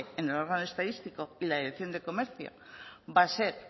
en el órgano estadístico y la dirección de comercio va a ser